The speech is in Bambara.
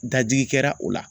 Dajigi kɛra o la.